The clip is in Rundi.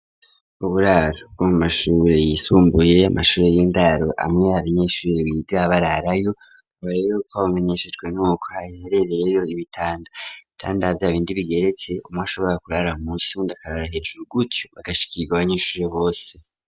Uburaro bwo mumashuri yisumbuye amashuri y'indaro amwe abanyeshuri biga bararayo rero ko bamenyeshejwe nuko haherereyeyo ibitanda ibitanda vyabindi bigeretse umwe ashobora kurara munsi uwundi akarara hejuru guco bagashikigwa abanyeshure bose.